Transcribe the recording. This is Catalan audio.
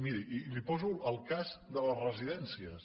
miri i li poso el cas de les residències